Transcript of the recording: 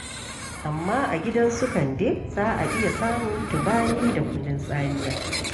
Amma a gidan su Kande, za a iya samun Tubani da kunun tsamiya.